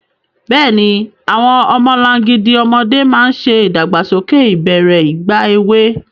Bẹ́ẹ̀ni, àwọn ọmọlangidi ọmọdé máa ń ṣe ìdàgbàsókè ìbẹ̀rẹ̀ ìgbà èwe.